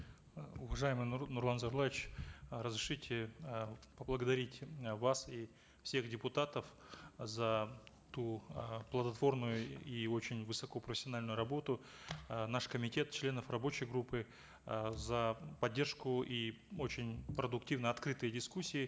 э уважаемый нурлан зайроллаевич э разрешите э поблагодарить э вас и всех депутатов за ту э плодотворную и очень высокопрофессиональную работу э наш комитет членов рабочей группы э за поддержку и очень продуктивные открытые дискуссии